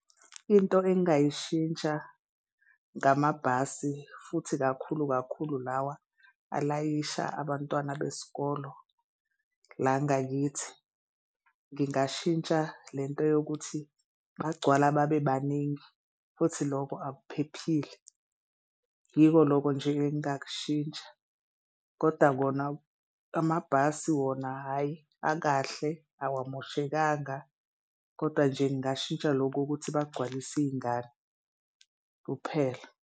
Into engingayishintsha ngamabhasi futhi kakhulu kakhulu lawa alayisha abantwana besikolo la ngakithi ngingashintsha le nto yokuthi bagcwala babe baningi futhi loko akuphephile. Yiko loko nje engingakushintsha koda kona amabhasi wona hhayi akahle, awamoshekanga kodwa nje ngingashintsha lokho ukuthi bagcwalise iy'ngane kuphela.